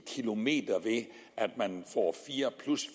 kilometer ved at man får fire